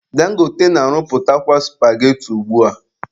Dangote na-arụpụtakwa supageti ugbua